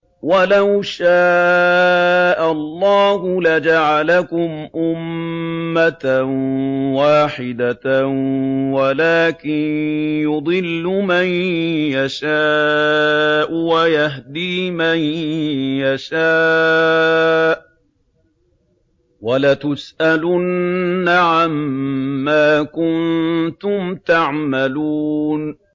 وَلَوْ شَاءَ اللَّهُ لَجَعَلَكُمْ أُمَّةً وَاحِدَةً وَلَٰكِن يُضِلُّ مَن يَشَاءُ وَيَهْدِي مَن يَشَاءُ ۚ وَلَتُسْأَلُنَّ عَمَّا كُنتُمْ تَعْمَلُونَ